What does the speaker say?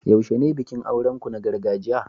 yaushe ne bikin auren ku na gargajiya?